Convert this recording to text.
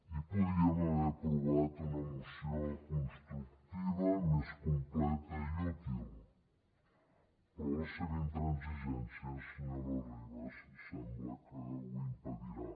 i podíem haver aprovat una moció constructiva més completa i útil però la seva intransigència senyora ribas sembla que ho impedirà